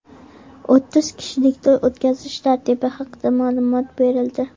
O‘ttiz kishilik to‘y o‘tkazish tartibi haqida ma’lumot berildi.